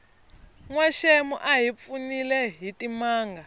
nwaxemu a hi pfunile hitimanga